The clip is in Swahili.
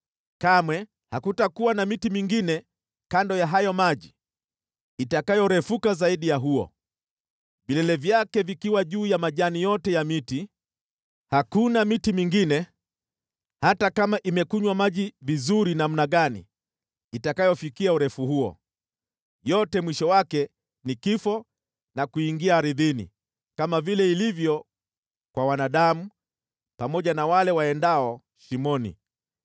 Kamwe hakutakuwa na miti mingine kando ya hayo maji itakayorefuka zaidi ya huo, vilele vyake vikiwa juu ya majani yote ya miti. Hakuna miti mingine, hata kama imekunywa maji vizuri namna gani, itakayofikia urefu huo. Yote mwisho wake ni kifo, na kuingia ardhini, kama vile ilivyo kwa wanadamu, pamoja na wale waendao shimoni.